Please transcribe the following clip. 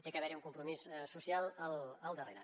ha d’haver hi un compromís social al darrere